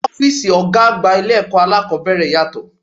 Ọ́físì ọgá àgbà ilé ẹ̀kọ́ aláàkọ́bẹ̀rẹ̀ yàtọ̀.